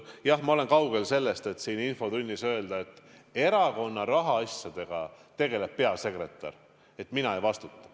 Jah, ma olen kaugel sellest, et siin infotunnis öelda, et erakonna rahaasjadega tegeleb peasekretär ja mina ei vastuta.